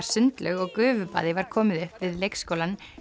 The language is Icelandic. sundlaug og gufubaði var komið upp við leikskólann